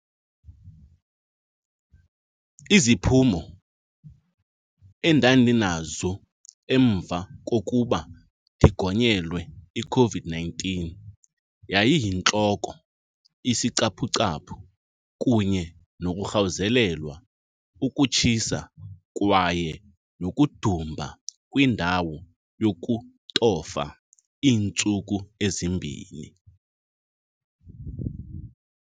Iziphumo endandinazo emva kokuba ndigonyelwe iCOVID-nineteen yayiyintloko, isicaphucaphu kunye nokurhawuzelelwa, ukutshisa kwaye nokudumba kwindawo yokutofa iintsuku ezimbini.